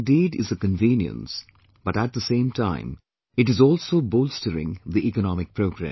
This indeed is a convenience, but at the same time it is also bolstering the economic progress